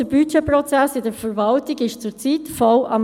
Der Budgetprozess in der Verwaltung läuft derzeit auf Hochtouren: